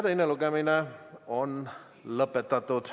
Teine lugemine on lõpetatud.